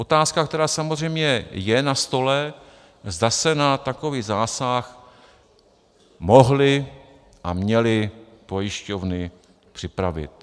Otázka, která samozřejmě je na stole, zda se na takový zásah mohly a měly pojišťovny připravit.